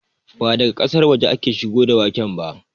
Ba daga ƙasar waje aka shigo da waken ba